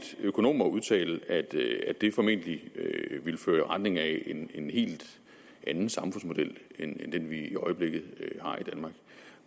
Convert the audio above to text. økonomer udtale at det at det formentlig ville føre i retning af en helt anden samfundsmodel end den vi har i øjeblikket